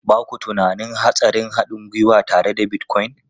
Ba ku tunanin hatsarin haɗin gwiwa tare da Bitcoin?